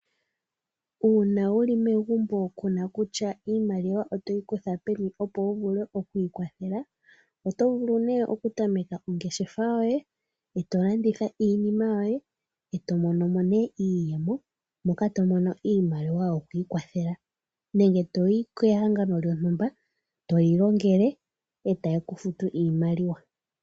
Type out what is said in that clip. Uuna wuli megumbo kuna kutya iimaliwa otoyi kutha peni opo wuvule okwiikwathela otovulu nee okutameka ongeshefa yoye eeto landitha iinima yoye opo wuvule okumonamo iiyemo opo wuvule okwiikwathela nenge toyi kehangano lyontumba tolilongele etali kufutu iimaliwa.